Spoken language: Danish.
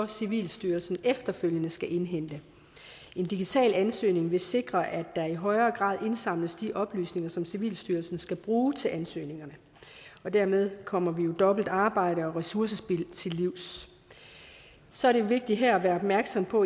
civilstyrelsen så efterfølgende skal indhente en digital ansøgning vil sikre at der i højere grad indsamles de oplysninger som civilstyrelsen skal bruge til ansøgninger og dermed kommer vi dobbeltarbejde og ressourcespild til livs så er det vigtigt her at være opmærksom på